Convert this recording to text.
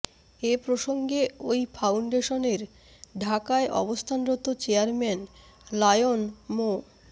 এ প্রসঙ্গে ওই ফাউন্ডেশনের ঢাকায় অবস্থানরত চেয়ারম্যান লায়ন মো